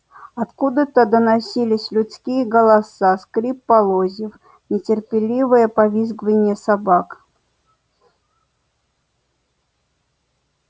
откуда то доносились людские голоса скрип полозьев нетерпеливое повизгивание собак